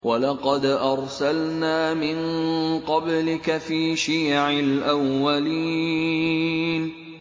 وَلَقَدْ أَرْسَلْنَا مِن قَبْلِكَ فِي شِيَعِ الْأَوَّلِينَ